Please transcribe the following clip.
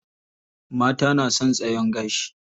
Mata na son tsayon gashi.